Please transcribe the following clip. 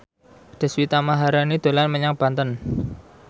Deswita Maharani dolan menyang Banten